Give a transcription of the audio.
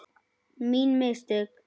Mín mistök?